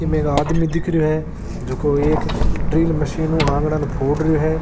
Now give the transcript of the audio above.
इमें एक आदमी दिख रहियो है जको एक ड्रिल मशीन हु आंगणा ने फोड़ रहियो है।